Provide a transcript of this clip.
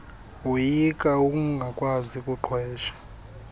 woyika ukungakwazi kuqhwesha